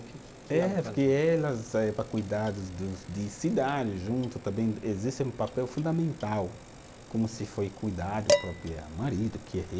É, porque elas saíam para cuidar de cidades, junto também existe um papel fundamental, como se foi cuidar do próprio marido, que é rei.